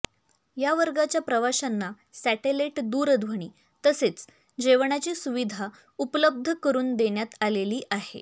या वर्गाच्या प्रवाशांना सॅटलाईट दूरध्वनी तसेच जेवणाची सुविधा उपलब्ध करुन देण्यात आलेली आहे